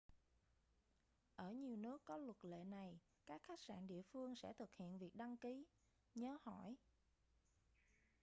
ở nhiều nước có luật lệ này các khách sạn địa phương sẽ thực hiện việc đăng ký nhớ hỏi